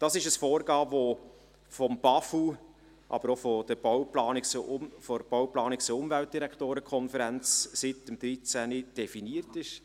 Dies ist ein Vorgehen, das vom BAFU, aber auch von der Bau-, Planungs- und Umweltdirektoren-Konferenz (BPUK) seit 2013 so definiert ist.